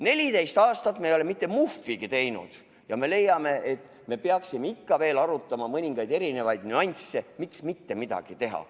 14 aastat ei ole me mitte muhvigi teinud ja nüüd leiame, et peaksime ikka veel arutama mõningaid nüansse, miks mitte midagi teha.